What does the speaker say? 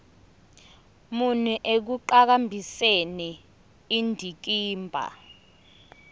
muni ekuqhakambiseni indikimba